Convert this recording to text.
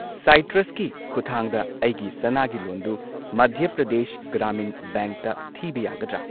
ꯁꯥꯢꯇ꯭ꯔꯁꯀꯤ ꯈꯨꯊꯥꯡꯗ ꯑꯩꯒꯤ ꯁꯅꯥꯒꯤ ꯂꯣꯟ ꯗꯨ ꯃꯙ꯭ꯌ ꯄ꯭ꯔꯗꯦꯁ ꯒ꯭ꯔꯥꯃꯤꯟ ꯕꯦꯡꯛꯇ ꯊꯤꯕ ꯌꯥꯒꯗ꯭ꯔꯥ?